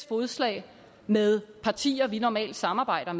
fodslag med partier vi normalt samarbejder